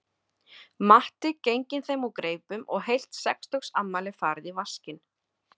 Matti genginn þeim úr greipum og heilt sextugsafmæli farið í vaskinn